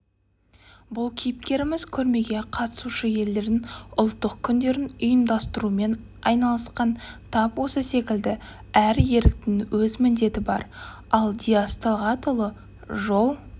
бұл кейіпкеріміз көрмеге қатысушы елдердің ұлттық күндерін ұйымдастырумен айналысқан тап осы секілді әр еріктінің өз міндеті бар ал диас талғатұлы жол